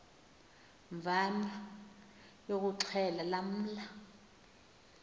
mvana yokuxhelwa lamla